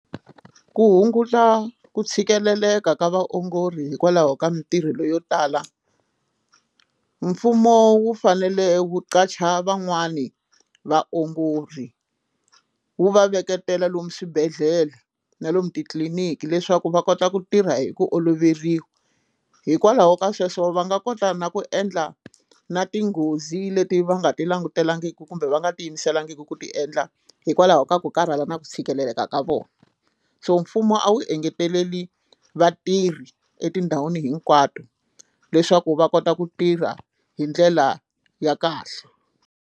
Ku hunguta ku tshikeleleka ka vaongori hikwalaho ka mitirho leyo tala mfumo wu fanele wu qacha van'wani vaongori wu va veketela lomu swibedhlele na lomu titliliniki leswaku va kota ku tirha hi ku oloveriwa hikwalaho ka sweswo va nga kota na ku endla na tinghozi leti va nga ti langutelangiki kumbe va nga ti yimisela talangiki ku ti endla hikwalaho ka ku karhala na ku tshikelela ka ka vona so mfumo a wu engeteleli vatirhi etindhawini hinkwato leswaku va kota ku tirha hi ndlela ya kahle.